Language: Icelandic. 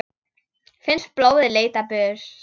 Finnst blóðið leita burt.